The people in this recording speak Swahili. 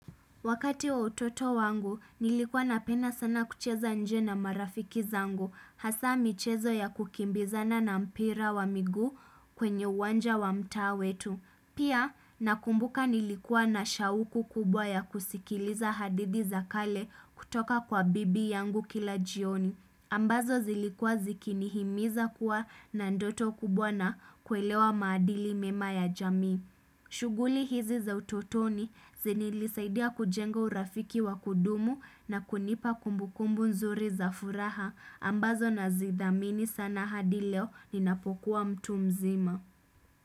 Wakati wa utoto wangu nilikuwa napenda sana kucheza nje na marafiki zangu hasa michezo ya kukimbizana na mpira wa miguu kwenye uwanja wa mta wetu. Pia nakumbuka nilikuwa na shauku kubwa ya kusikiliza hadithi za kale kutoka kwa bibi yangu kila jioni. Ambazo zilikuwa zikinihimiza kuwa na ndoto kubwa na kuelewa maadili mema ya jamii. Shughuli hizi za utotoni zini ilisaidia kujenga urafiki wa kudumu na kunipa kumbukumbu nzuri za furaha ambazo na zithamini sana hadi leo ninapokuwa mtu mzima.